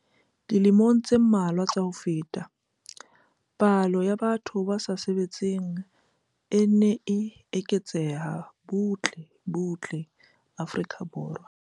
Dilemong tse mmalwa tsa ho feta, palo ya batho ba sa sebetseng e ne e eketseha butle butle Afrika Borwa.